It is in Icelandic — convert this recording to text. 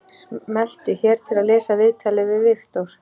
Smelltu hér til að lesa viðtalið við Viktor